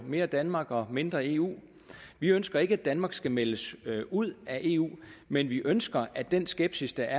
mere danmark og mindre eu vi ønsker ikke at danmark skal meldes ud af eu men vi ønsker at den skepsis der